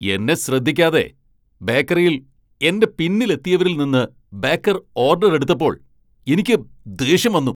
എന്നെ ശ്രദ്ധിക്കാതെ ബേക്കറിയിൽ എന്റെ പിന്നിൽ എത്തിയവരിൽ നിന്ന് ബേക്കർ ഓഡർ എടുത്തപ്പോൾ എനിക്ക് ദേഷ്യം വന്നു .